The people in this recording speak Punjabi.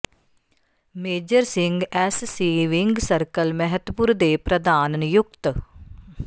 major Singh SC wing circle Mehatpur ਦੇ ਪ੍ਰਧਾਨ ਨਿਯੁਕਤ